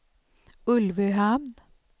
Ulvöhamn